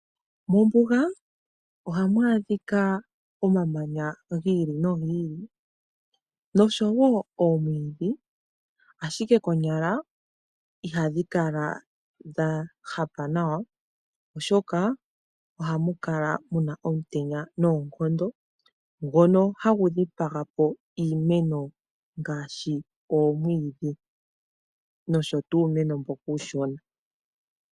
Mombuga ohamu adhika omamanya gomaludhi noshowo omwiidhi. Iimeno ihayikala ya ziza nawa oshoka mombuga ohamukala omutenya noonkondo ngono hagu dhipaga iimeno ngaashi omwiidhi nuumeno mboka uushona